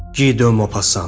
Gidö Mopassan.